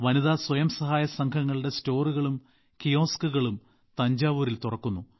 വനിതാ സ്വയം സഹായ സംഘങ്ങളുടെ സ്റ്റോറുകളും കിയോസ്കുകളും തഞ്ചാവൂരിൽ തുറക്കുന്നു